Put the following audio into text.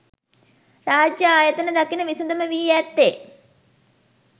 රාජ්‍ය ආයතන දකින විසඳුම වී ඇත්තේ